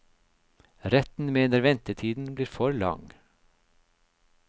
Retten mener ventetiden blir for lang.